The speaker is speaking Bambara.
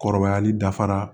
Kɔrɔbayali dafara